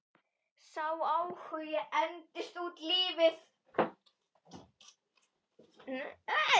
Sá áhugi entist út lífið.